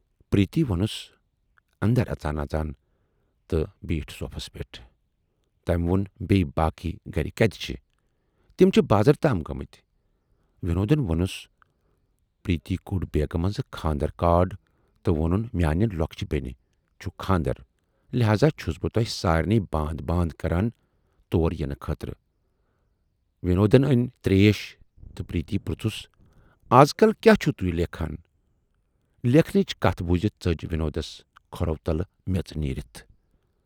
پریتی وونُس اندر اژان اژان تہٕ بیٖٹھ صوفس پٮ۪ٹھ۔ تمہِ وون بییہِ باقی گرٕکۍ کتہِ چھِ؟ "تِم چھِ بازر تام گٲمٕتۍ۔ وِنودن وونُس پریٖتی کوڈ بیگہٕ منزٕ کھاندر کارڈ تہٕ وونُن میانہِ لۅکچہِ بینہِ چھُ کھاندر لہذا چھَس بہٕ تۅہہِ سارِنٕے باند باند کران تور یِنہٕ خٲطرٕ وِنودن ٲنۍ تریش تہٕ پریتی پرژُھس ازکل کیاہ چھِوٕ توہۍ لیکھان؟ لیکھنٕچ کتھ بوٗزِتھ ژٔج وِنوٗدس کھورو تلہٕ میژ نیٖرِتھ۔